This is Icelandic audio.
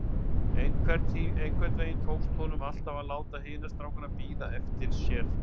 Einhvern veginn tókst honum alltaf að láta hina strákana bíða eftir sér.